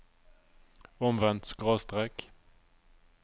omvendt skråstrek